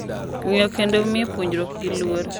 Ng’eyo kendo miyo pogruokgi luor